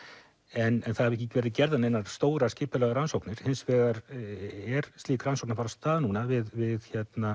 en það hafa ekki verið gerðar neinar stórar skipulagðar rannsóknir hins vegar er slík rannsókn að fara af stað núna við